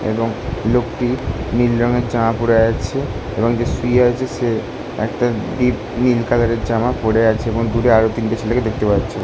এবং লোকটি নীল রং এর জামা পরে আছে এবং যে শুয়ে আছে সে একটা ডিপ নীল কালারের জামা পরে আছে। এবং দূরে আরো তিনটে ছেলেকে দেখতে পাচ্ছি।